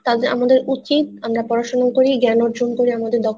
তা আমদের উচিৎ আমরা পড়াশোনা করি জ্ঞান অর্জন করে আমাদের দক্ষ